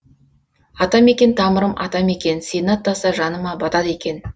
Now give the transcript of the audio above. атамекен тамырым атамекен сені аттаса жаныма батады екен